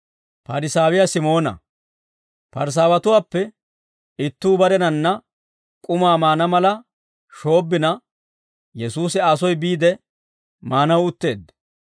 Parisaawatuwaappe ittuu barenanna k'umaa maana mala shoobbina, Yesuusi Aa soy biide maanaw utteedda.